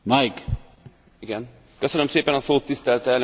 Tisztelt elnök úr, tisztelt képviselőtársaim!